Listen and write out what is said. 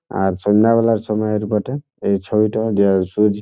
আর সন্ধে বেলায় সময়ের বটে এই ছয়টা দেওয়ার সুজি--